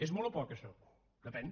és molt o poc això depèn